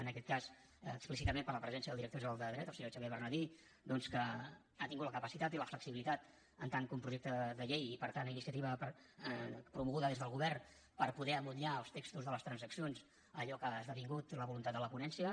en aquest cas explícitament per la presència del director general de dret el senyor xavier bernadí doncs que ha tingut la capacitat i la flexibilitat en tant que un projecte de llei i per tant iniciativa promoguda des del govern per poder emmotllar els textos de les transaccions a allò que ha esdevingut la voluntat de la ponència